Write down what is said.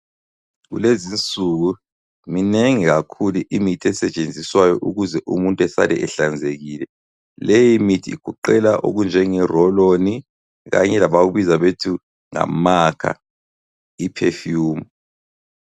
Kulezinsuku minengi kakhulu imithi esetshenziswayo ukuze umuntu esale ehlanzekile, leyi mithi igoqela okunjenge "roll on"kanye labakubiza njengokuthi amakha i"perfume".